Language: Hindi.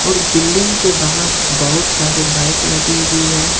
और बिल्डिंग के बाहर बहोत सारे बाइक लगी हुई है।